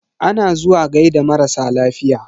Ana zuwa gaida marasa lafiya.